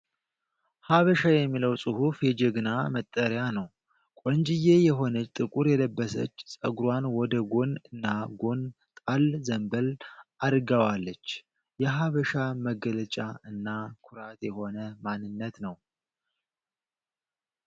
"ሐበሻ" የሚለዉ ፅሁፍ የጀግና መጠሪያ ነዉ። ቆንጅየ የሆነች ጥቁር የለበሰች ፀጉሯን ወደ ጎን እና ጎን ጣል ዘንበል! አድረሰጋዋለች። የሐበሻ መገለጫ እና ኩራት የሆነ ማንነት ነዉ።